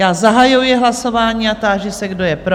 Já zahajuji hlasování a táži se, kdo je pro?